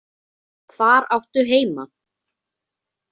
Hvar áttu heima?